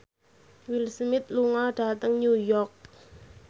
Will Smith lunga dhateng New York